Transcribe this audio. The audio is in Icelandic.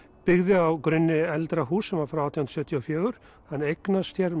byggði á grunni eldra húss sem var frá átján hundruð sjötíu og fjögur hann eignast hér